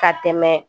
Ka tɛmɛ